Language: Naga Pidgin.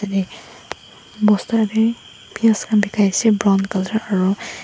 bosta tae piyas khan bikai ase brown colour aro.